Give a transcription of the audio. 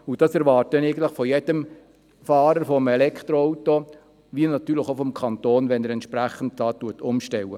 Das erwarte ich von jedem Fahrer eines Elektroautos, so auch vom Kanton, sollte dieser entsprechend umstellen.